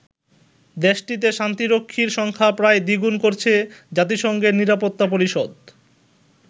দেশটিতে শান্তিরক্ষীর সংখ্যা প্রায় দ্বিগুণ করছে জাতিসংঘের নিরাপত্তা পরিষদ।